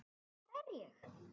Hvar er ég?